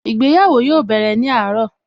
Ìgbéyàwó yóò bẹ̀rẹ̀ ní àárọ̀